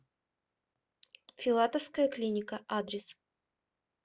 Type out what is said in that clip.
филатовская клиника адрес